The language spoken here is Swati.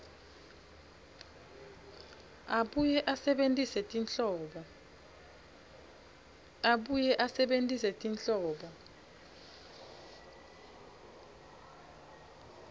abuye asebentise tinhlobo